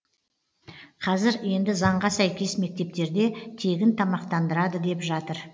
қазір енді заңға сәйкес мектептерде тегін тамақтандырады деп жатыр